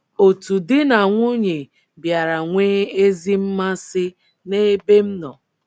Otu di na nwunye bịara nwee ezi mmasị n’ebe m nọ.